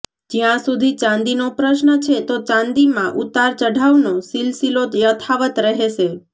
જ્યાં સુધી ચાંદીનો પ્રશ્ન છે તો ચાંદીમાં ઉતાર ચઢાવનો સિલસિલો યથાવત રહેશે